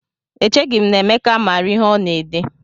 Echeghị m na Emeka maara ihe ọ na-ede